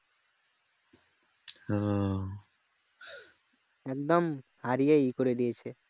একদম হারিয়েই ইয়ে করে দিয়েছে